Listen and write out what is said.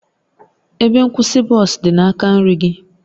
Ebe nkwụsị bọs dị n'aka nri gị